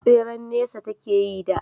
tseren nesa take yi da